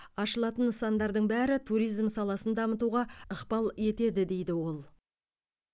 ашылатын нысандардың бәрі туризм саласын дамытуға ықпал етеді дейді ол